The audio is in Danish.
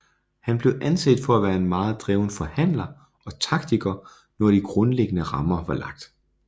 Han blev anset for at være en meget dreven forhandler og taktiker når de grundlæggende rammer var lagt